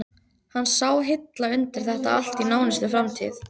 Hann sá hilla undir þetta allt í nánustu framtíð.